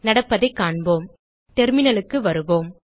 நடப்பதைக் காண்போம் terminalக்கு வருவோம்